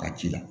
Ka ci la